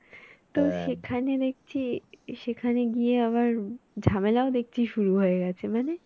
তো সেখানে দেখছি সেখানে গিয়ে আবার ঝামেলাও দেখছি শুরু হয়ে গেছে মানে